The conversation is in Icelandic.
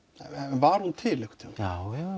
var hún til einhvern tímann já já